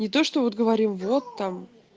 не то что вот говорим вот там